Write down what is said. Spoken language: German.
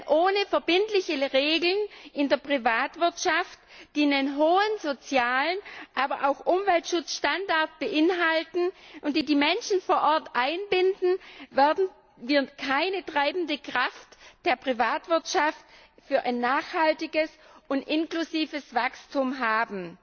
Denn ohne verbindliche Regeln in der Privatwirtschaft, die einen hohen sozialen Standard und auch einen hohen Umweltschutzstandard beinhalten und die die Menschen vor Ort einbinden, werden wir keine treibende Kraft der Privatwirtschaft für ein nachhaltiges und inklusives Wachstum haben.